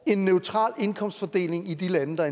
en neutral indkomstfordeling i de lande der